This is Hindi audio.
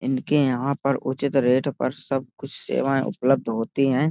इनके यहाँ पर उचित रेट पर सब कुछ सेवाएं उपलब्ध होती हैं।